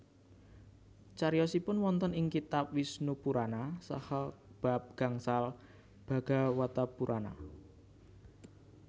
Cariyosipun wonten ing kitab Wisnupurana saha bab gangsal Bhagawatapurana